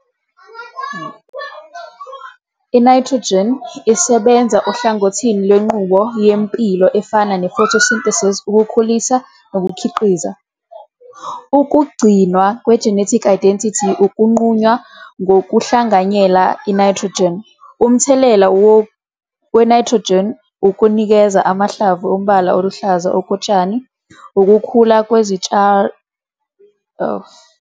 I-Nayithrojini, N, isebenza ohlangothini lwenqubo yempilo efana ne-photosynthesis, ukukhulisa nokukhiqiza. Ukugcinwa kwe-genetic identity inqunywa ngokuhlanganyela i-nayithrojini. Umthelela wenaythrojini ukunikeza amahlamvu umbala oluhlaza okotshani ukukhula kwezimilazezitshalo kuhambisana ne-nayithrojini.